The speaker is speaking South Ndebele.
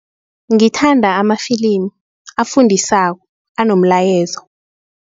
Ngithanda amafilimu afundisako anomlayezo.